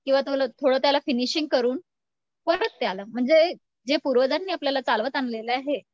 किंवा थोडं त्याला फिनिशिंग करून परत ते आलं म्हणजे जे पूर्वजांनी आपल्याला चालवत आणलेलं आहे